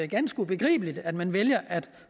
ganske ubegribeligt at man vælger at